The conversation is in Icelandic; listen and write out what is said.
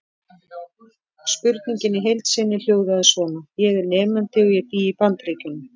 Spurningin í heild sinni hljóðaði svona: Ég er nemandi og ég bý í Bandaríkjum.